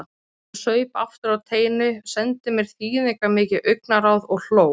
Hún saup aftur á teinu, sendi mér þýðingarmikið augnaráð og hló.